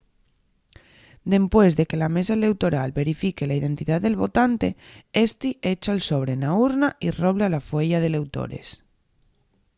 dempués de que la mesa eleutoral verifique la identidá del votante ésti echa’l sobre na urna y robla la fueya d’eleutores